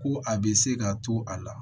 Ko a bɛ se ka to a la